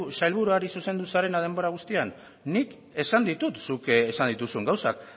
sailburuari zuzendu zarela denbora guztian nik esan ditut zuk esan dituzun gauzak